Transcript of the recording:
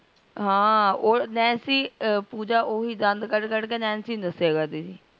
ਹਾਂ ਓਹ ਨੈਨਸੀ ਪੂਜਾ ਓਹੀ ਦੰਦ ਕੱਢ ਕੱਢ ਕੇ ਨੈਨਸੀ ਨੂ ਦੱਸਿਆ ਕਰਦੀ ਸੀ